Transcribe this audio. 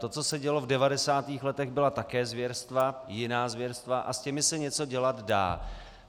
To, co se dělo v 90. letech, byla také zvěrstva, jiná zvěrstva, a s těmi se něco dělat dá.